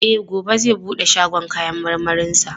E, gobe zai bude shagon kayan marmarinsa.